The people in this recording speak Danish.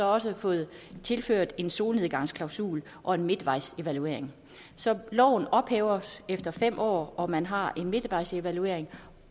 også fået tilført en solnedgangsklausul og en midtvejsevaluering så loven ophæves efter fem år og man har en midtvejsevaluering